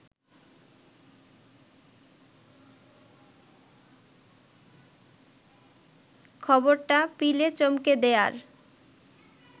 খবরটা পিলে চমকে দেয়ার